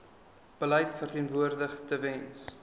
beleid verteenwoordig tewens